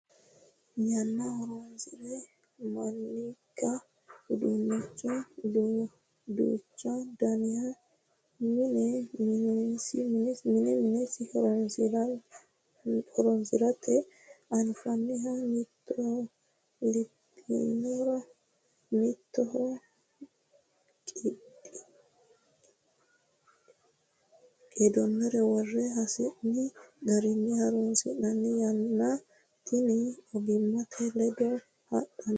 Yanna horonsire manninke uduuncho duuchu daniha mine minesi horonsirannati anfannihu mittoho iibbinore mittoho qiidinore worre hasi'ni garinni horonsi'nannite yanna tinni ogimate ledo hadhanote.